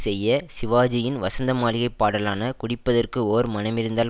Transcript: செய்ய சிவாஜியின் வசந்த மாளிகை பாடலான குடிப்பதற்கு ஓர் மனமிருந்தால்